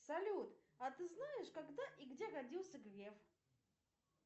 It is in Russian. салют а ты знаешь когда и где родился греф